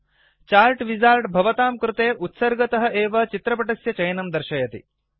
chart wizard भवातां कृते उत्सर्गतःडिफाल्ट् एव चित्रपटस्य चयनं दर्शयति